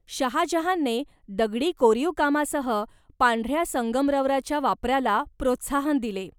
शहाजहानने दगडी कोरीवकामासह, पांढऱ्या संगमरवराच्या वापराला प्रोत्साहन दिले.